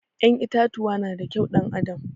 Ƴan itatuwa na da kyau ɗan adam